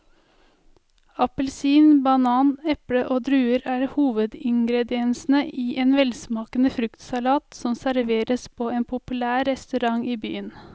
Appelsin, banan, eple og druer er hovedingredienser i en velsmakende fruktsalat som serveres på en populær restaurant i byen.